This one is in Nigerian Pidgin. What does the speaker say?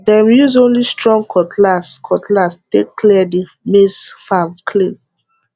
dem use only strong cutlass cutlass take clear the maize farm clean